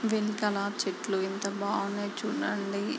వెనకాల చెట్లు ఎంత బాగున్నాయో చుడండి.